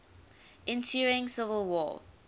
ensuing civil war